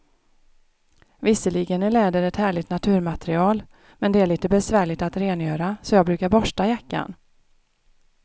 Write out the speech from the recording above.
Visserligen är läder ett härligt naturmaterial, men det är lite besvärligt att rengöra, så jag brukar borsta jackan.